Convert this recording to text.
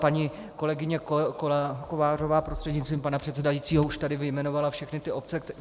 Paní kolegyně Kovářová prostřednictvím pana předsedajícího už tady vyjmenovala všechny ty obce.